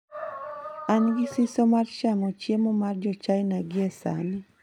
An gi siso mar chamo chiemo mar Jo - China gie sani.